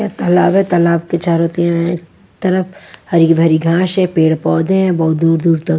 तालाब है तालाब के चारों तीन अ तरफ हरी भरी घांस है पेड़ पौधे हैं बहुत दूर दूर तक।